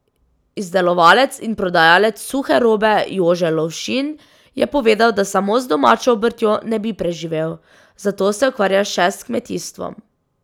Izdelovalec in prodajalec suhe robe Jože Lovšin je povedal, da samo z domačo obrtjo ne bi preživel, zato se ukvarja še s kmetijstvom.